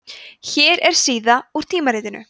hér er síða úr tímaritinu